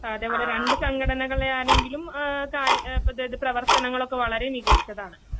സാദ്യംപറഞ്ഞാ രണ്ട്സംഘടനകളെയാണെങ്കിലും ആഹ് കാരി പ്രേത്യേകിച്ച്പ്രവർത്തനങ്ങളൊക്കെ വളരെമികച്ചതാണ്.